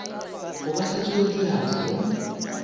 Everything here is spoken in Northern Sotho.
go ka hlatswiwa diatla go